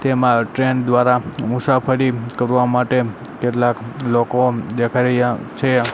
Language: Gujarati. તેમા ટ્રેન દ્વારા મુસાફરી કરવા માટે કેટલાક લોકો દેખાય રહ્યા છે.